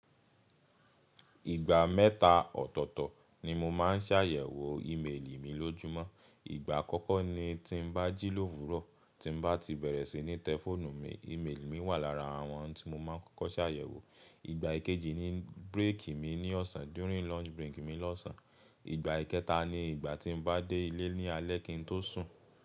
Ìgbà mẹ́ta ọ̀tọ̀ọ̀tọ̀ ni mo máa ń ṣàyẹ̀wò ìméèlì mi lójúmọ́. Ìgbà àkọ́kọ́ ni tí bá jí lówurọ̀, tí bá ti bẹ̀rẹ̀ sí ní tẹ fónù mi, ìméèlì mi wà lára àwọn tí mo máa kọ́kọ́ ṣàyẹ̀wò. Ìgbà ìkejì ni bírèkì mi ní ọ̀sán, during lunch break mi ní ọ̀sán. Ìgbà ìkẹta ni ìgbà tí mo bá dé ilé ní alẹ́ kín tó sùn.